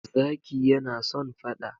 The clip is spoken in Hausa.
Zaki yana son fada.